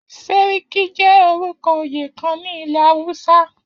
Sàrki jẹ́ orúkọ oyè kan ní ilẹ̀ Awúsá